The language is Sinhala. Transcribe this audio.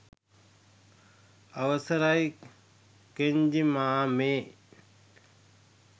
අවසරයි ! කෙන්ජි මාමෙ